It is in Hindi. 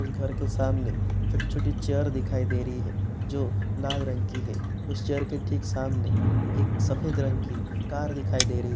उस घर के सामने छोटी-छोटी चैयर दिखाई दे रही है जो लाल रंग की है| उस चैयर के ठीक सामने एक सफेद रंग की कार दिखाई दे रही --